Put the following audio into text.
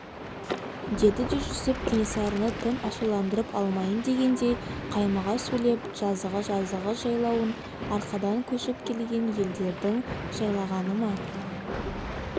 деді жүсіп кенесарыны тым ашуландырып алмайын дегендей қаймыға сөйлеп жазығы жазғы жайлауын арқадан көшіп келген елдердің жайлағаны ма